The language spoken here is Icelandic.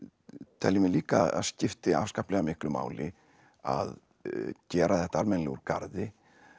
teljum við líka að skipti afskaplega miklu máli að gera þetta almennilega úr garði